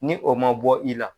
Ni o man bɔ i la